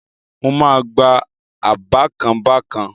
Mo máa gbá-a bákan bákan